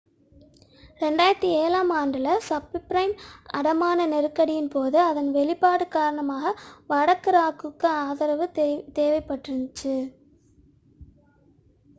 2007 ஆம் ஆண்டில் சப்பிரைம் அடமான நெருக்கடியின் போது அதன் வெளிப்பாடுக் காரணமாக வடக்கு ராக்குக்கு ஆதரவு தேவைப்பட்டிருக்கிறது